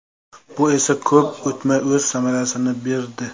Bu esa ko‘p o‘tmay o‘z samarasini berdi.